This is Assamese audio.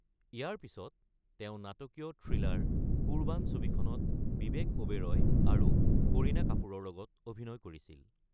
ইয়াৰ পিছত তেওঁ নাটকীয় থ্ৰিলাৰ কুৰবান ছবিখনত বিবেক ওবৰই আৰু কৰিনা কাপুৰৰ লগত অভিনয় কৰিছিল।